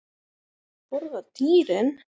Borða dýrin?